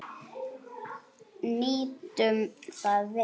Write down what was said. Nýtum það vel.